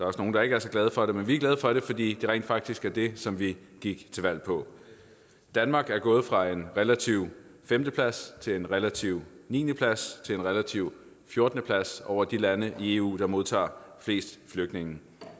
også nogle der ikke er så glade for det men vi er glade for det fordi det rent faktisk er det som vi gik til valg på danmark er gået fra en relativ femte plads til en relativ niende plads til en relativ fjortende plads over de lande i eu der modtager flest flygtninge